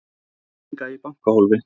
Með peninga í bankahólfi